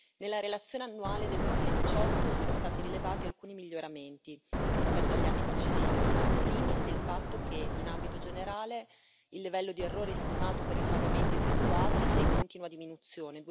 Nella relazione annuale del 2018 sono stati rilevati alcuni miglioramenti rispetto agli anni precedenti in primis, il fatto che, in ambito generale, il livello di errore stimato per i pagamenti effettuati è in continua diminuzione,